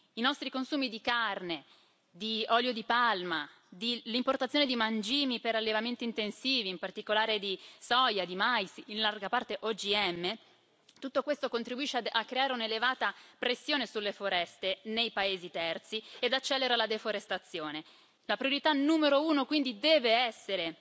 I nostri consumi di carne, di olio di palma, l'importazione di mangimi per allevamenti intensivi, in particolare di soia e di mais, in larga parte OGM, tutto questo contribuisce a creare un'elevata pressione sulle foreste nei paesi terzi ed accelera la deforestazione. La priorità numero uno quindi deve essere